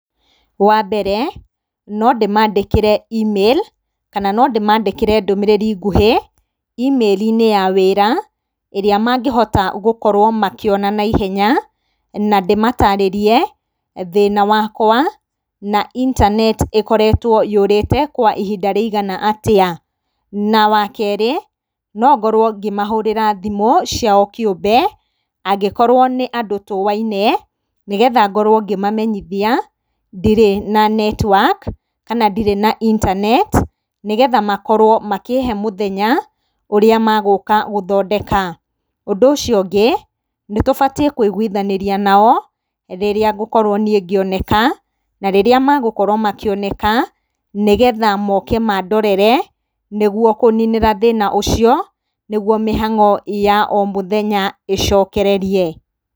Wa mbere, no ndĩmaandĩkĩre e-mail, kana no ndĩmaandĩkĩre ndũmĩrĩri nguhĩ, e-mail-inĩ ya wĩra ĩrĩa mangĩhota gũkorwo makĩona naihenya, na ndĩmataarĩrie thĩna wakwa, na intaneti ĩkoretwo yũrĩte kwa ihinda rĩigana atĩa. Na wa kerĩ, no ngorwo ngĩmahũrĩra thimũ ciao kĩũmbe angĩkorwo nĩ andũ tũũaine, nĩgetha ngorwo ngĩmamenyithia ndirĩ na netiwaki kana ndirĩ na intaneti, nĩgetha makorwo makĩhe mũthenya ũrĩa magũũka gũthondeka. Ũndũ ũcio ũngĩ, nĩ tũbatiĩ kũiguithanĩria nao rĩrĩa ngũkorwo niĩ ngĩoneka, na rĩrĩa magũkorwo makĩoneka, nĩgetha mooke maandorere nĩguo kũũninĩra thĩna ũcio nĩguo mĩhang'o ya o mũthenya ĩcokererie.